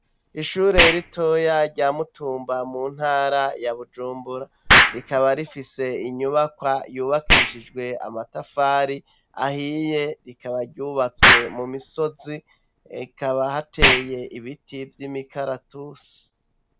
Ishure ritoya rya Mutumba mu ntara ya Bujumbura. Rikaba rifise inyubakwa yubakishije amatafari ahiye, rikaba ryubatswe mu misozi, hakaba hateye ibiti vy' imikaratusi.